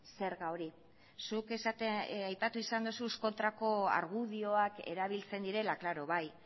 zerga hori zuk aipatu izan duzu kontrako argudioak erabiltzen direla klaro bai